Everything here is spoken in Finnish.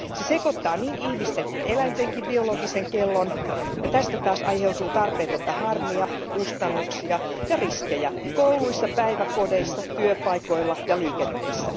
Se sekoittaa niin ihmisten kuin eläintenkin biologisen kellon ja tästä taas aiheutuu tarpeetonta harmia, kustannuksia ja riskejä kouluissa, päiväkodeissa, työpaikoilla ja liikenteessä.